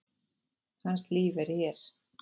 Hans líf er hér.